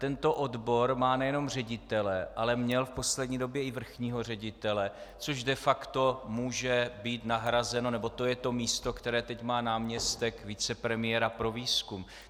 Tento odbor má nejenom ředitele, ale měl v poslední době i vrchního ředitele, což de facto může být nahrazeno, nebo to je to místo, které teď má náměstek vicepremiéra pro výzkum.